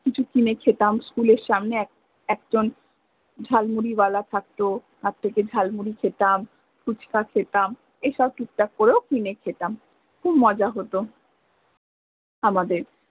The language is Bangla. কিছু কিনে খেতাম school এর সামনে এক~একজন ঝাল মুরি ওয়ালা থাকত, তার থেকে ঝাল মুরি খেতাম, ফুচ্কা খেতাম, এইসব টুকটাক করেও কিনে খেতাম খুব মজা হত আমদের